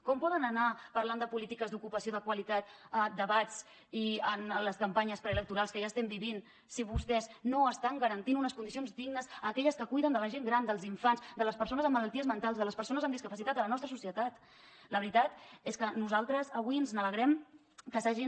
com poden anar parlant de polítiques d’ocupació de qualitat en debats i en les campanyes preelectorals que ja estem vivint si vostès no estan garantint unes condicions dignes a aquelles que cuiden la gent gran els infants les persones amb malalties mentals les persones amb discapacitat a la nostra societat la veritat és que nosaltres avui ens alegrem que s’hagin